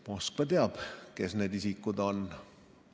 Moskva teab, kes need isikud on.